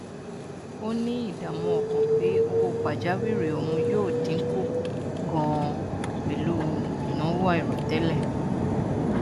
ó ní ìdààmú ọkàn pé owó pajáwìrì òun yóò dínkù ganan pẹlú ìnáwó àìròtẹlẹ